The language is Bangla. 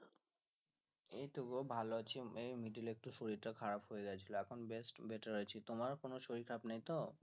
এই তো গো ভালো আছি এই middle এ একটু শরীর টা খারাপ হয়ে গিয়েছিল এখন বেশ better আছি তোমার কোনো শরীর খারাপ নেই তো